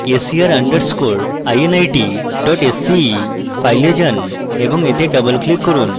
ser underscore init dot sce file যান এবং এতে double click করুন